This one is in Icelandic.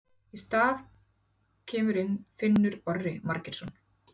Í hans stað kemur inn Finnur Orri Margeirsson.